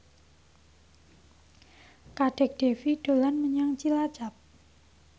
Kadek Devi dolan menyang Cilacap